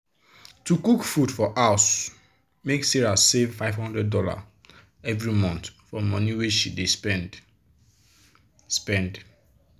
to cook food for house make sarah save five hundred dollars every month for money wey she be dey spend. spend.